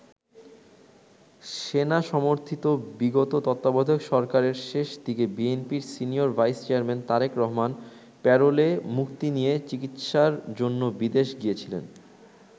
সেনা সমর্থিত বিগত তত্বাবধায়ক সরকারের শেষ দিকে বিএনপির senior vice chairman Tarique Rahman প্যারোলে মুক্তি নিয়ে চিকিৎসার জন্য বিদেশ গিয়েছিলেন।